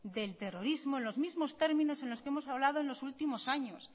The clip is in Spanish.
del terrorismo en los mismo términos en los que hemos hablado en los últimos años